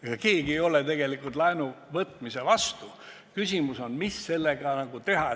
Ega keegi ei ole tegelikult laenuvõtmise vastu, küsimus on, mida selle laenuga teha.